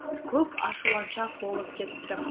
көп ашуланшақ болып кеттім